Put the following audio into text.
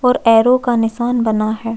और ऐरो का निशान बना है।